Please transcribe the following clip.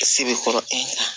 Se bɛ kɔrɔ e ɲana